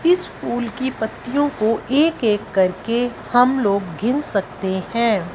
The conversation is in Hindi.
इस फूल की पत्तियों को एक-एक करके हम लोग गिन सकते हैं।